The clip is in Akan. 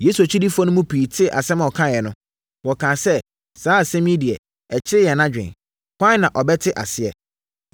Yesu akyidifoɔ no mu pii tee asɛm a ɔkaeɛ no, wɔkaa sɛ, “Saa asɛm yi deɛ, ɛkyere yɛn adwene. Hwan na ɔbɛte aseɛ?”